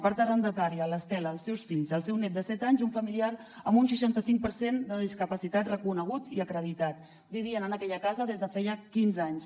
part arrendatària l’estela els seus fills el seu net de set anys i un familiar amb un seixanta cinc per cent de discapacitat reconegut i acreditat vivien en aquella casa des de feia quinze anys